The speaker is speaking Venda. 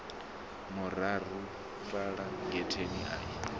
mararu fhala getheni a i